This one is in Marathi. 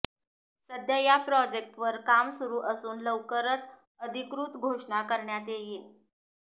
सध्या या प्रोजेक्टवर काम सुरू असून लवकरच अधिकृत घोषणा करण्यात येईल